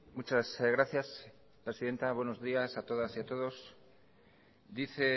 muchas gracias presidenta buenos días a todas y a todos dice